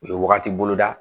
U ye wagati bolo da